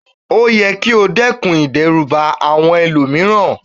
O yẹ ki o dẹ́kun ìdẹ́rùbà àwọn ẹlòmíràn